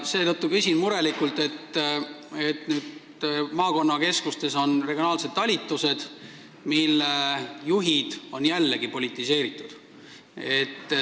Seetõttu küsin murelikult maakonnakeskustes asuvate regionaalsete talituste kohta, mille juhid on jällegi politiseeritud.